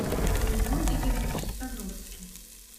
родион игоревич ставровский